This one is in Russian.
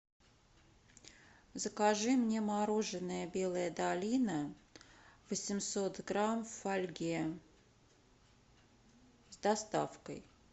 закажи мне мороженое белая долина восемьсот грамм в фольге с доставкой